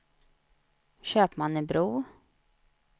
Köpmannebro